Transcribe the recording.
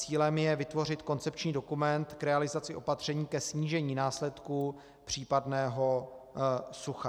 Cílem je vytvořit koncepční dokument k realizaci opatření ke snížení následků případného sucha.